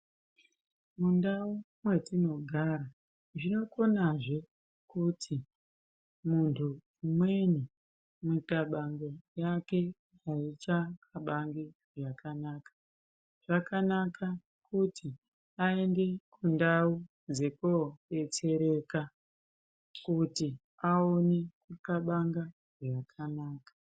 Mundau metinogara zvinokonazve kuti muntu umweni mikabango yake aichakabangi zvakanaka, zvakanaka kuti aende kundau dzekobetsereka kuti aone kukabanga zvakanaka.